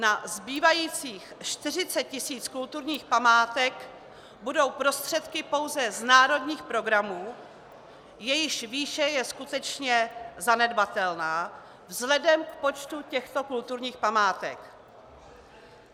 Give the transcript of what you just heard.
Na zbývajících 40 tisíc kulturních památek budou prostředky pouze z národních programů, jejichž výše je skutečně zanedbatelná vzhledem k počtu těchto kulturních památek.